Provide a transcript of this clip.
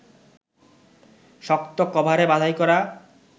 শক্ত কভারে বাঁধাই করা